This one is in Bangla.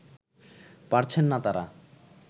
পারছেন না তারা